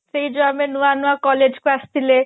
ସେଇ ଜଓୟାଉ ଆମେ ନୂଆ ନୂଆ collage କୁ ଆସିଥିଲେ